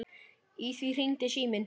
Í því hringdi síminn.